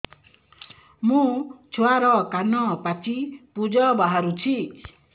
ମୋ ଛୁଆର କାନ ପାଚି ପୁଜ ବାହାରୁଛି